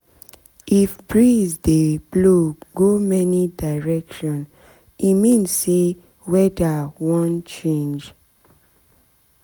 if breeze dey blow go many direction e mean say weather wan change